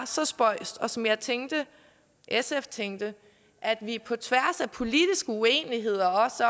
så spøjst og som jeg tænkte sf tænkte at vi på tværs af politisk uenighed